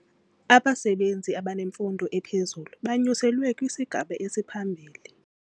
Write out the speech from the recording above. Abasebenzi abanemfundo ephezulu banyuselwe kwisigaba esiphambili.